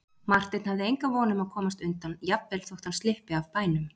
Marteinn hafði enga von um að komast undan, jafnvel þótt hann slyppi af bænum.